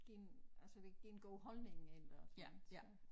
Giver altså det giver en god holdning eller sådan så